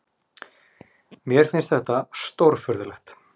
Mér finnst þetta stórfurðulegt.